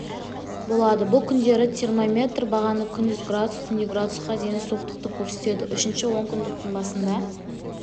болады бұл күндері термометр бағаны күндіз градус түнде градусқа дейін суықтықты көрсетеді үшінші онкүндіктің басында